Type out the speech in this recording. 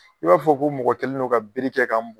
I b'a fɔ ko mɔgɔ kɛlen don ka bere kɛ ka m